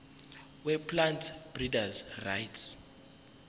weplant breeders rights